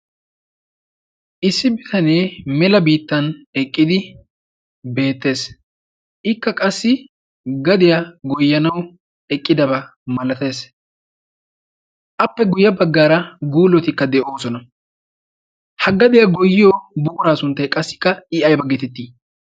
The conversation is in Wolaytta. issi bitanee mela biittan eqqidi beettees. ikka qassi gadiyaa goyyanawu eqqidabaa malatees. appe guyya baggaara guullotikka de7oosona. ha gadiyaa goyiyo buuraa sunttai qassikka i ai baggetettii?